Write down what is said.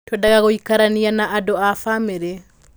Twendaga gũikarania na andũ a famĩlĩ.